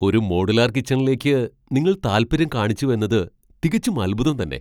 ഒരു മോഡുലാർ കിച്ചണിലേക്ക് നിങ്ങൾ താല്പര്യം കാണിച്ചുവെന്നത് തികച്ചും അത്ഭുതം തന്നെ .